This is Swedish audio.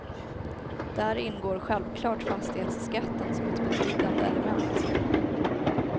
Där ingår självklart fastighetsskatten som ett betydande element.